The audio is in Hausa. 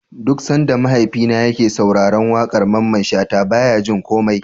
Duk Sanda mahaifina yake sauraran waƙar Mamman shata baya jin komai